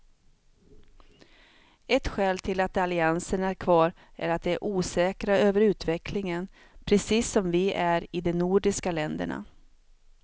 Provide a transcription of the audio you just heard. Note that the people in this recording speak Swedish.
Ett skäl till att alliansen är kvar är att de är osäkra över utvecklingen, precis som vi är i de nordiska länderna.